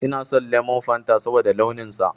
Ina son lemon Fanta saboda launin sa